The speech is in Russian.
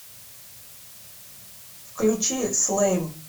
включи слэйм